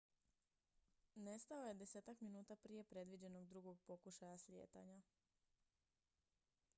nestao je desetak minuta prije predviđenog drugog pokušaja slijetanja